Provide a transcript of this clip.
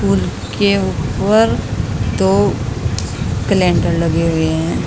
उसके ऊपर दो कैलेंडर लगे हुएं हैं।